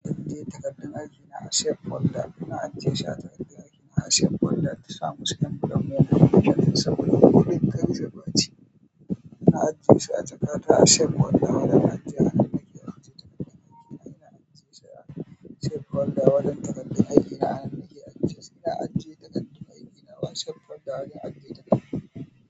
Eh takardun aikina a safe folder, ina ajiyeshi ah kardun aikina a safe folder. In sa musu envelope me murfi kenan saboda duk kar ya ɓaci. Ina ajiye shi a jakata a safe folder wajen ajiya a nan nake ajiye ta, a wajen takardun aikina a anan nake ajiye sa. Ina ajiye takardun aikina a safe folder a wajen ajiye takardu.